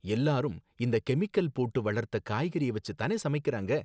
எல்லாரும் இந்த கெமிக்கல் போட்டு வளர்த்த காய்கறிய வச்சு தானே சமைக்கறாங்க